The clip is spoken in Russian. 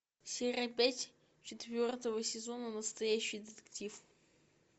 серия пять четвертого сезона настоящий детектив